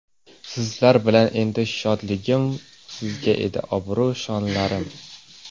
Sizlar bilan edi shodligim, Sizga edi obro‘, shonlarim.